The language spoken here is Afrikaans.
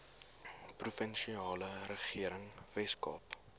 provinsiale regering weskaap